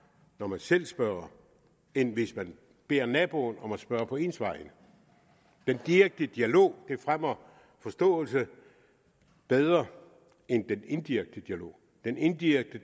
når man selv spørger end hvis man beder naboen om at spørge på ens vegne den direkte dialog fremmer forståelse bedre end den indirekte dialog den indirekte